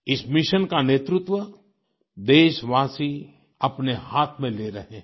इस मिशन का नेतृत्व देशवासी अपने हाथ में ले रहे हैं